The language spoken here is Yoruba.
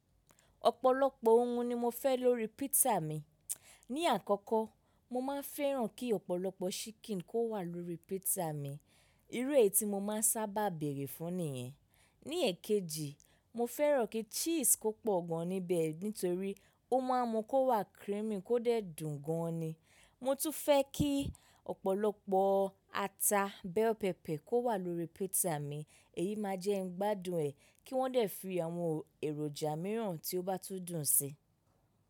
Ọ̀pọ̀lọpọ̀ òun ni mo fẹ́ lórí pizza mi. Ní àkọ́kọ́, mo máa fẹ́ràn kí ọ̀pọ̀lọpọ̀ ṣikìn kó wà lórí pizza mi. Irú èyí tí mo máa ń sábà bèrè fún nìyẹn. Ní ẹ̀kejì, mo fẹ́ràn kí cheese kó pọ̀ gan níbẹ̀, nítorí ó máa mú kó wà creamy kó dé dùn gan ni. Mo tún fẹ́ kí ọ̀pọ̀lọpọ̀ ata bell pepper kó wà lórí pizza mi. Èyí máa jẹ́ ń gbádùn ẹ̀ kí wọ́n dé fi àwọn èròjà mìíràn tí ó bá tún dùn sí.